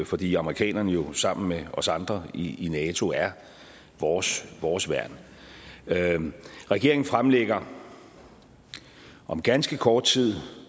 fordi amerikanerne sammen med os andre i nato er vores vores værn regeringen fremlægger om ganske kort tid